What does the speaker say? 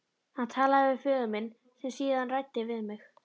Hann talaði við föður minn sem síðan ræddi við mig.